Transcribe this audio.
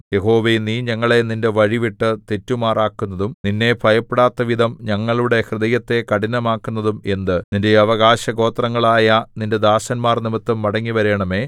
യഹോവേ നീ ഞങ്ങളെ നിന്റെ വഴി വിട്ടു തെറ്റുമാറാക്കുന്നതും നിന്നെ ഭയപ്പെടാത്തവിധം ഞങ്ങളുടെ ഹൃദയത്തെ കഠിനമാക്കുന്നതും എന്ത് നിന്റെ അവകാശഗോത്രങ്ങളായ നിന്റെ ദാസന്മാർനിമിത്തം മടങ്ങിവരേണമേ